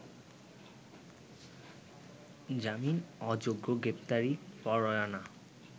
জামিন অযোগ্য গ্রেপ্তারি পরোয়ানা